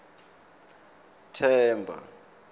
themba